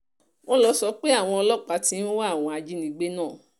wọ́n lọ sọ pé àwọn ọlọ́pàá ti ń wá àwọn ajínigbé náà